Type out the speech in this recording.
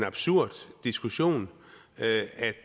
diskussion